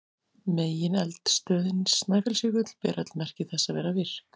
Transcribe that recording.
Megineldstöðin Snæfellsjökull ber öll merki þess að vera virk.